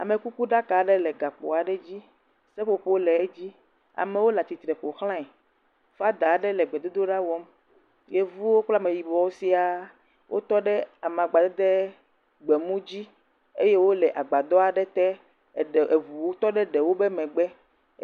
amekuku ɖaka aɖe le gakpo aɖe dzi seƒoƒowo le edzi amowo latsitre ƒoxlãe fada aɖe le gbedodoɖa wɔm yevuwo kple ameyibuwo sia wótɔ ɖe amagba dede gbemu dzi eye wóle agbadɔ aɖe te eye eʋu ʋuwo le wó megbe